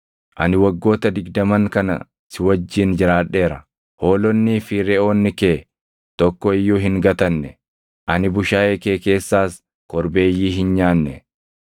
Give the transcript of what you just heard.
“Ani waggoota digdaman kana si wajjin jiraadheera. Hoolonnii fi reʼoonni kee tokko iyyuu hin gatanne; ani bushaayee kee keessaas korbeeyyii hin nyaanne.